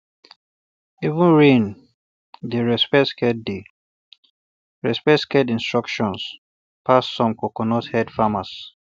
even um rain dey respect sacred dey respect sacred instructions um pass some coconuthead farmers